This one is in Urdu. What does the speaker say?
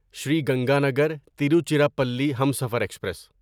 سری گنگانگر تیروچیراپلی ہمسفر ایکسپریس